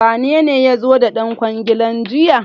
Wanene ya zo da ɗan kwangilar jiya?